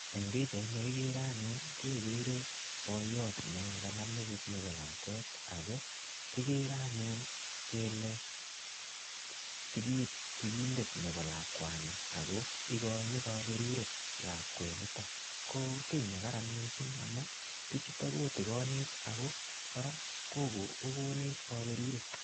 Eng pichaini kigere anyun ii kegere boiyot ne kanam metit nebo lakwet ago kigere anyun kele sigindet nebo lakwani ago igoin kaberuret lakwanitok. Ko ki nekararan amu, bichuto kotigonech ago kora ko, kogonech kaberuret.